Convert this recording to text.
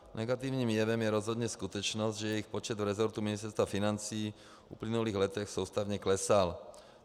Negativním jevem je rozhodně skutečnost, že jejich počet v resortu Ministerstva financí v uplynulých letech soustavně klesal.